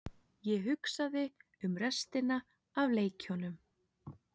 Ég hugsaði um restina af leikjunum.